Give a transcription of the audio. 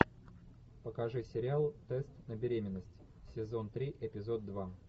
покажи сериал тест на беременность сезон три эпизод два